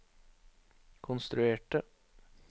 konstruerte